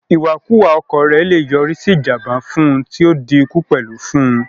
Ìwàkuwà ọkọ̀ rẹ̀ le yọrí sí ìjànbá fún un tí o di ikú fún un pẹ̀lú